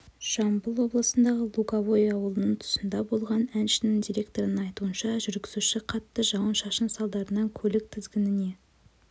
жамбыл облысындағы луговой ауылының тұсында болған әншінің директорының айтуынша жүргізуші қатты жауын-шашын салдарынан көлік тізгініне